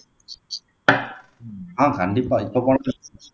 ஆஹ் கண்டிப்பா இப்போ